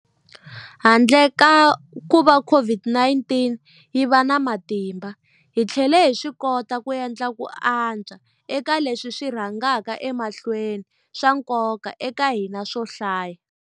Handle ka kuva COVID-19 yi va na matimba, hi tlhele hi swikota ku endla ku antswa eka leswi swi rhangaka emahlweni swa nkoka eka hina swo hlaya.